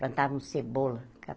Plantávamos cebola.